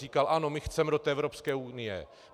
Říkal: Ano, my chceme do té Evropské unie.